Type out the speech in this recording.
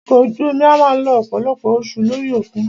Ọkọ̀ ojú omi a máà lo ọ̀pọ̀lọpọ̀ oṣù lórí òkun.